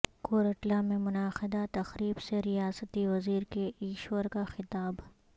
کورٹلہ میں منعقدہ تقریب سے ریاستی وزیر کے ایشور کا خطاب